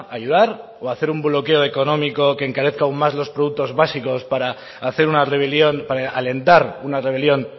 ayudar o hacer un bloqueo económico que encarezca aún más los productos básicos para hacer una rebelión para alentar una rebelión